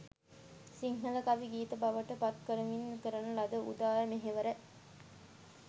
සිංහල කවි, ගීත බවට පත් කරමින් කරන ලද උදාර මෙහෙවර